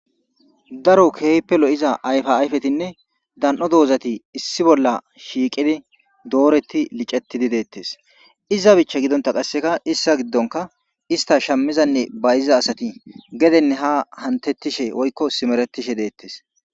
daro keepelo7iza ayfa ayfetinne dan7o doozati issi bolla shiiqidi dooretti licettidi deettes iza bicha gidonta qasseka issa giddonka ista shammizanne bayiza asati gedenne ha hantettishe oykko simeretishe deettes